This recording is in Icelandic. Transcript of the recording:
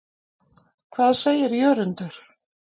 Hvað segir Jörundur?